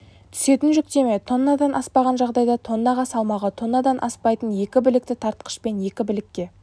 түсетін жүктеме тоннадан аспаған жағдайда тоннаға салмағы тоннадан аспайтын екі білікті тартқыш пен екі білікке